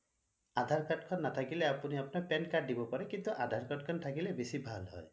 আধাৰ card খন নাথাকিলে আপুনি আপোনাৰ pan card খন দিব পাৰে কিন্তু আধাৰ card খন থাকিলে বেছি ভাল হয়